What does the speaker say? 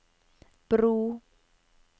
bro